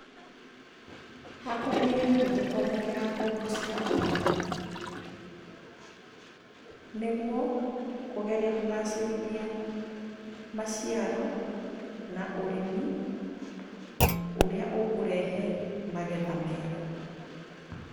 Hakwa nĩũhũthũ kwamũkĩra ngombo cia ũrĩmi, nĩguo kũgeria kũgacĩrithia maciaro na ũrĩmi ũrĩa ũkũrehe magetha mega.